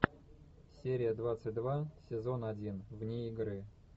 серия двадцать два сезон один вне игры